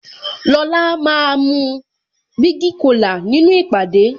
Lola máa mu bigi cola nínú ìpàdé